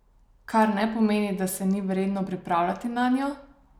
Kar ne pomeni, da se ni vredno pripravljati nanjo!